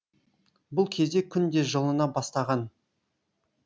бұл кезде күн де жылына бастаған